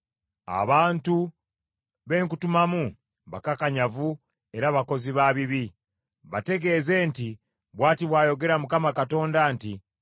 Abantu be nkutumamu bakakanyavu era bakozi ba bibi. Bategeeze nti, ‘Bw’ati bw’ayogera Mukama Katonda nti,’